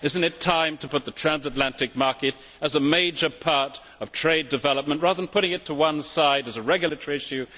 Is it not time to make the transatlantic market a major part of trade development, rather than putting it to one side as a regulatory issue?